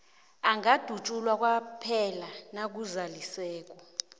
angadutjulwa kwaphela nakuzaliseke